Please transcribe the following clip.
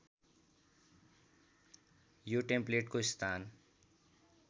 यो टेम्प्लेटको स्थान